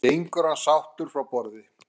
Gengur hann sáttur frá borði?